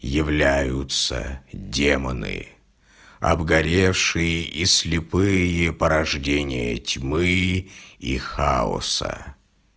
являются демоны обгоревшие и слепые порождения тьмы и хаоса